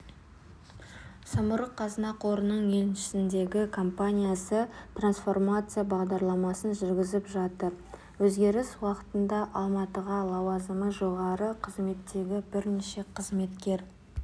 самұрық-қазына қорының еншісіндегі компаниясы трансформация бағдарламасын жүргізіп жатыр өзгеріс уақытында алматыдағы лауазымы жоғары қызметтегі бірнеше қызметкер